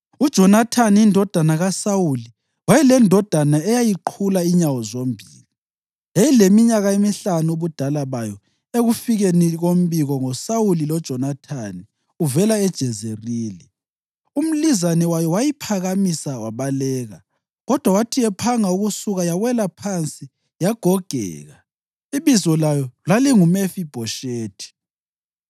(UJonathani indodana kaSawuli wayelendodana eyayiqhula inyawo zombili. Yayileminyaka emihlanu ubudala bayo ekufikeni kombiko ngoSawuli loJonathani uvela eJezerili. Umlizane wayo wayiphakamisa wabaleka, kodwa wathi ephanga ukusuka yawela phansi yagogeka. Ibizo layo lalinguMefibhoshethi.)